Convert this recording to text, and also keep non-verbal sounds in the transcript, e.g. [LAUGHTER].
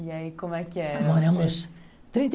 E aí, como é que era? [UNINTELLIGIBLE]